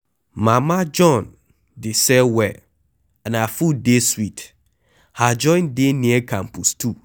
Mama John dey sell well and her food dey sweet, her joint dey near campus 2